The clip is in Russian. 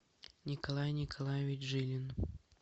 николай николаевич жилин